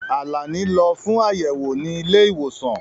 Àlàní lọ fún ayẹwo ni ilé-ìwòsàn.